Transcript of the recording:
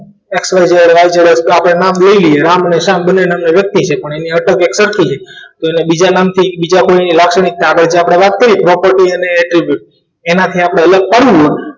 xyz હોય તોય આપણે એમને નામ લઈ લઈએ રામ અને શ્યામ બંને નામની વ્યક્તિ છે પણ એની એક અટક સરખી છે અને બીજા નામથી બીજા કોઈની લાક્ષણિકતા આપણે વાત કરીએ property અને એનાથી આપણે અલગ પાડીએ